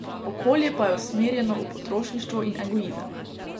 Okolje pa je usmerjeno v potrošništvo in egoizem.